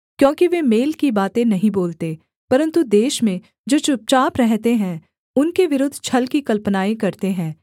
क्योंकि वे मेल की बातें नहीं बोलते परन्तु देश में जो चुपचाप रहते हैं उनके विरुद्ध छल की कल्पनाएँ करते हैं